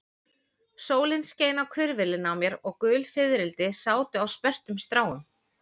Sólin skein á hvirfilinn á mér og gul fiðrildi sátu á sperrtum stráum.